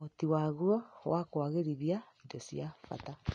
ũhoti waguo wa kũagĩrithia indo cia bata